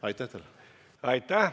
Aitäh!